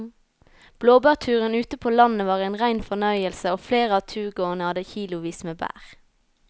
Blåbærturen ute på landet var en rein fornøyelse og flere av turgåerene hadde kilosvis med bær.